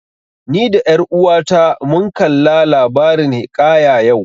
Ni da ƴar uwata mun kalla labarin hiƙaya yau